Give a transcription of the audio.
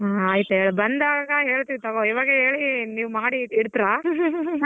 ಹ್ಮ್ ಆಯ್ತು ಹೇಳ್ ಬಂದಾಗ ಹೇಳ್ತೀನಿ ತಗೋ ಇವಾಗ ಹೇಳಿ ನೀವ್ ಮಾಡಿ ಇಡ್ತಿರಾ .